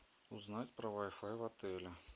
узнать про вай фай в отеле